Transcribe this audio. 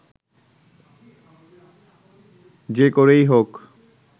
যে করেই হোক